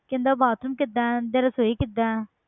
ਕਹਿੰਦਾ bathroom ਕਿੱਦਾਂ ਹੈ ਜਾਂ ਰਸੌਈ ਕਿੱਦਾਂ ਹੈ,